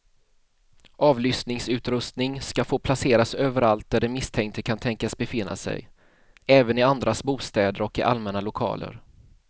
Avlyssningsutrustning ska få placeras överallt där den misstänkte kan tänkas befinna sig, även i andras bostäder och i allmänna lokaler.